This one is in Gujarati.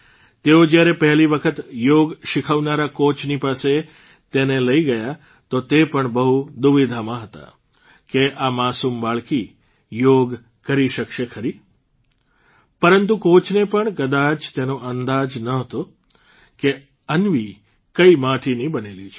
તેઓ જ્યારે પહેલી વખત યોગ શીખવનારા કોચની પાસે તેને લઇ ગયા તો તે પણ બહુ દુવિધામાં હતા કે આ માસૂમ બાળકી યોગ કરી શકશે ખરી પરંતુ કોચને પણ કદાચ તેનો અંદાજ નહોતો કે અન્વી કઇ માટીની બનેલી છે